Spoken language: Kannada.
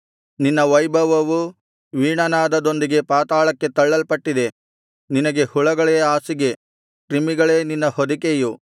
ನಿನ್ನ ವೈಭವವೂ ವೀಣಾನಾದದೊಂದಿಗೆ ಪಾತಾಳಕ್ಕೆ ತಳ್ಳಲ್ಪಟ್ಟಿವೆ ನಿನಗೆ ಹುಳಗಳೇ ಹಾಸಿಗೆ ಕ್ರಿಮಿಗಳೇ ನಿನ್ನ ಹೊದಿಕೆಯು